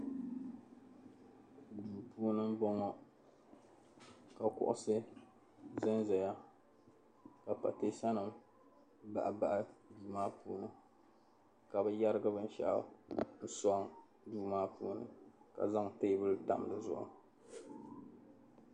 Duu puuni m-bɔŋɔ ka kuɣisi zanzaya ka pateesanima bahibahi duu maa puuni ka bɛ yɛrigi binshɛɣu n-sɔŋ duu maa puuni ka zaŋ teebuli tam di zuɣu.